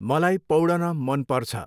मलाई पाैडन मन पर्छ।